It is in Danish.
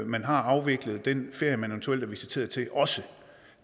man har afviklet den ferie man eventuelt er visiteret til